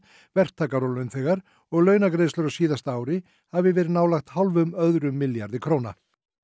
verktakar og launþegar og launagreiðslur á síðasta ári hafi verið nálægt hálfum öðrum milljarði króna